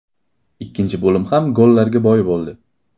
Ikkinchi bo‘lim ham gollarga boy bo‘ldi.